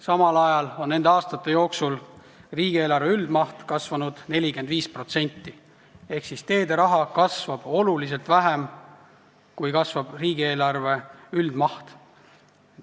Samal ajal on nende aastate jooksul riigieelarve üldmaht kasvanud 45% ehk siis teederaha kasvab protsentuaalselt hoopis vähem, kui kasvab riigieelarve üldmaht.